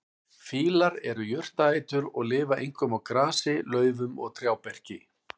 Fílar eru jurtaætur og lifa einkum á grasi, laufum og trjáberki.